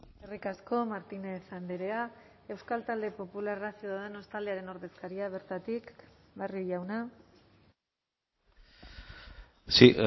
eskerrik asko martínez andrea euskal talde popularra ciudadanos taldearen ordezkaria bertatik barrio jauna sí